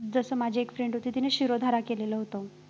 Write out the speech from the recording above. जसं माझी एक friend होती तिने शिरोधारा केलेलं होतं